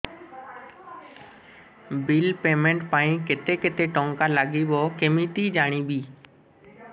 bill payment ପାଇଁ କେତେ କେତେ ଟଙ୍କା ଲାଗିବ କେମିତି ଜାଣିବି